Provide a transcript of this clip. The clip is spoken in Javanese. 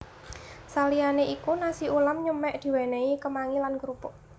Saliyanè iku nasi ulam nyemek diwènèhi kemangi lan krupuk